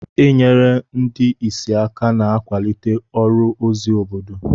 Inyere ndị ìsì aka na-akwalite ọrụ ozi obodo.